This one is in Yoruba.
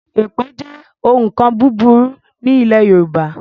Èpè jẹ́ òun nkan burúkú ní ilé Yorùbá